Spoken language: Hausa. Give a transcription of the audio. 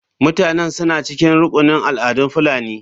Mutanen suna cikin rukunin al'adun fulani.